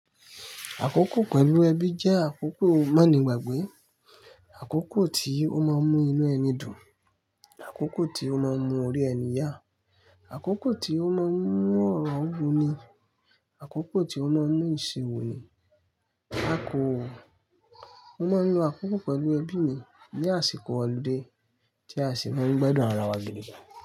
Àkókò pẹ̀lú ẹbí jẹ́ àkókò manigbagbe, àkókò tí ó máa ń mú inú ẹni dùn, àkókò tí ó máa ń mú ori ẹni yá, àkókò tí ó máa ń mú ọ̀rọ̀ wú ni, àkókò tí ó máa ń mú ìṣòro ni. A kò, a máa ń lo àkókò pẹ̀lú ẹbí mí, ní àsìkò ọludé, tí a sì máa ń gbádùn ara wa gidi.